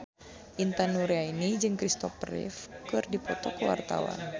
Intan Nuraini jeung Christopher Reeve keur dipoto ku wartawan